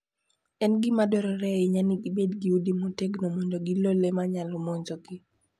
En gima dwarore ahinya ni gibed gi udi motegno mondo gilo le ma nyalo monjogi.